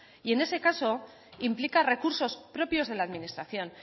y en ese caso implica recursos propios de la administración